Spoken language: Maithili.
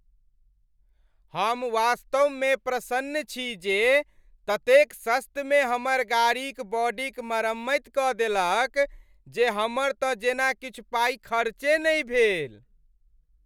हम वास्तव में प्रसन्न छी जे ततेक सस्त मे हमार गाड़ीक बॉडी क मरम्मैत क देलक जे हमर तँ जेना किछु पाइ खर्चे नहि भेल।